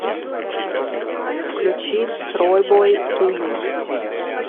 включи тройбой ду ю